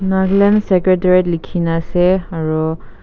nagaland secretariat likhi na ase aru--